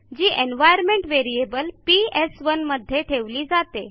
जी environment variable PS one मध्ये ठेवली जाते